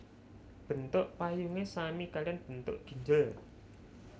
Bentuk payungé sami kaliyan bentuk ginjel